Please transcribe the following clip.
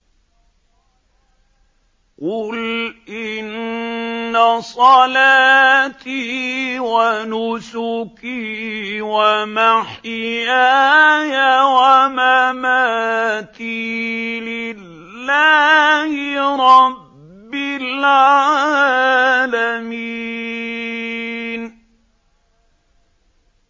قُلْ إِنَّ صَلَاتِي وَنُسُكِي وَمَحْيَايَ وَمَمَاتِي لِلَّهِ رَبِّ الْعَالَمِينَ